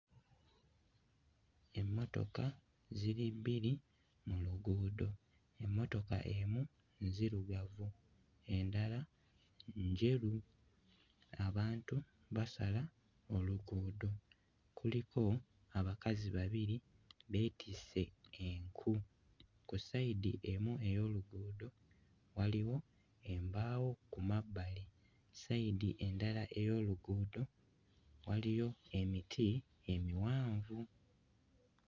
Emmotoka ziri bbiri mu luguudo, emmotoka emu nzirugavu, endala njeru, abantu basala oluguudo, kuliko abakozi babiri beetisse enku. Ku sayidi emu ey'oluguudo waliwo embaawo ku mabbali, ku sayidi endala ey'oluguudo waliyo emiti emiwanvu .